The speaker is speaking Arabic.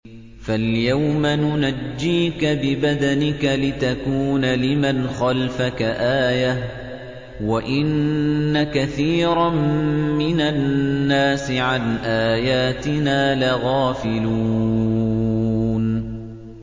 فَالْيَوْمَ نُنَجِّيكَ بِبَدَنِكَ لِتَكُونَ لِمَنْ خَلْفَكَ آيَةً ۚ وَإِنَّ كَثِيرًا مِّنَ النَّاسِ عَنْ آيَاتِنَا لَغَافِلُونَ